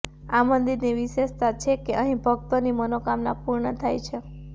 આ મંદિરની વિશેષતા છે કે અહી ભક્તોની મનોકામના પૂર્ણ થાય છે